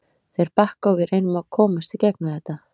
Þeir bakka og við reynum að komst í gegnum þetta.